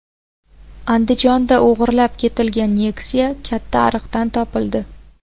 Andijonda o‘g‘irlab ketilgan Nexia katta ariqdan topildi .